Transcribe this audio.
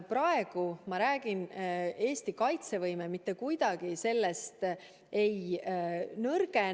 Praegu ma räägin, et Eesti kaitsevõime mitte kuidagi sellest ei nõrgene.